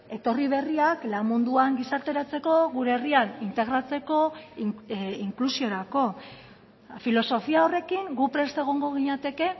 etorri berriak lan munduan gizarteratzeko gure herrian integratzeko inklusiorako filosofia horrekin gu prest egongo ginateke